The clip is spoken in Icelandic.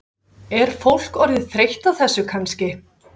Er fólk orðið þreytt á þessu kannski?